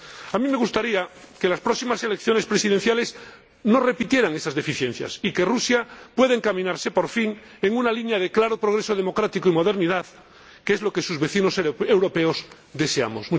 A mí me gustaría que las próximas elecciones presidenciales no repitieran esas deficiencias y que Rusia pueda encaminarse por fin en una línea de claro progreso democrático y modernidad, que es lo que sus vecinos europeos deseamos.